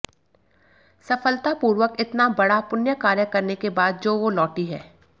सफलता पूर्वक इतना बड़ा पुण्य कार्य करने के बाद जो वो लौटी है